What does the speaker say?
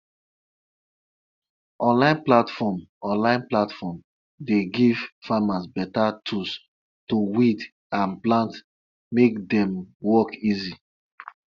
the goats wey he dey sell help am take gather money put for the first adult school them build for the town.